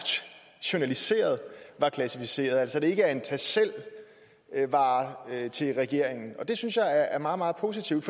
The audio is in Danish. journaliseret var klassificerede altså ikke en tag selv vare til regeringen og det synes jeg er meget meget positivt